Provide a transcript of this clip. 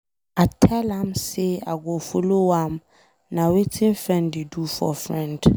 I tell am say I go follow am. Na wetin friend dey do for friend.